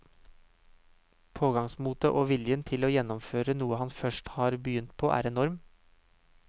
Pågangsmotet og viljen til å gjennomføre noe han først har begynt på er enorm.